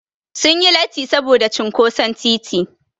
Sun yi latti saboda cinƙoson titi.